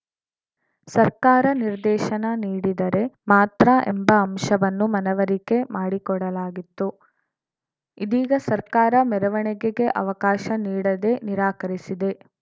ಸರ್ಕಾರ ನಿರ್ದೇಶನ ನೀಡಿದರೆ ಮಾತ್ರ ಎಂಬ ಅಂಶವನ್ನು ಮನವರಿಕೆ ಮಾಡಿಕೊಡಲಾಗಿತ್ತು ಇದೀಗ ಸರ್ಕಾರ ಮೆರವಣಿಗೆಗೆ ಅವಕಾಶ ನೀಡದೇ ನಿರಾಕರಿಸಿದೆ